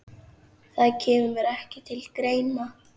Það kemur ekki til greina